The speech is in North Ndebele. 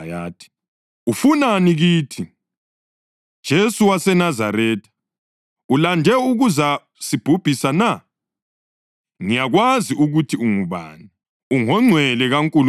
“Ufunani kithi, Jesu waseNazaretha? Ulande ukuza sibhubhisa na? Ngiyakwazi ukuthi ungubani, ungoNgcwele kaNkulunkulu!”